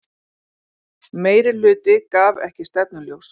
Meirihluti gaf ekki stefnuljós